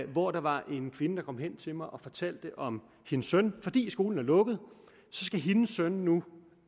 hvor der var en kvinde der kom hen til mig og fortalte om sin søn fordi skolen er lukket skal hendes søn nu